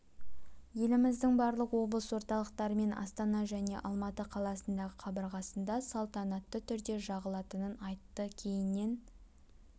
еліміздің барлық облыс орталықтары мен астана және алматы қаласындағы қабырғасында саланатты түрде жағылатынын айтты кейіннен